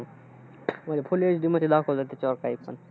हम्म full HD ते दाखवतात त्याच्यावर काय पण.